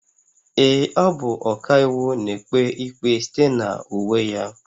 Ee, ọ bụ ọkàiwu, na-ekpe ikpe site na uwe ya